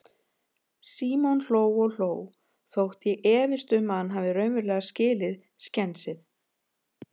Símon hló og hló, þótt ég efist um að hann hafi raunverulega skilið skensið.